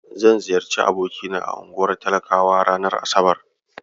Zan ziyarci abokina a unguwar talakawa ranar asabar.